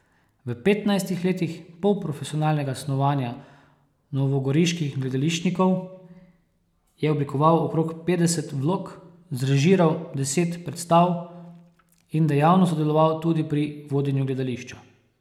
V petnajstih letih polprofesionalnega snovanja novogoriških gledališčnikov je oblikoval okrog petdeset vlog, zrežiral deset predstav in dejavno sodeloval tudi pri vodenju gledališča.